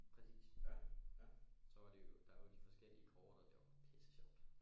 Præcis så var det jo der er de forskellige kort og det var pisse sjovt